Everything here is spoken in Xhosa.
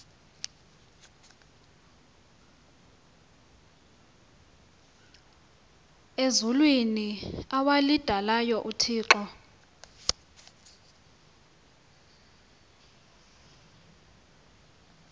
ezulwini awalidalayo uthixo